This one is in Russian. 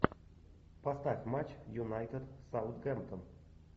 поставь матч юнайтед саутгемптон